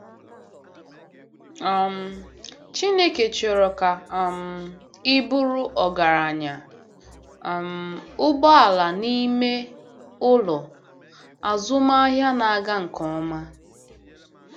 um Chineke chọrọ ka um ị bụrụ ọgaranya um - ụgbọala n'ime ụlọ, azụmahịa na-aga nke ọma.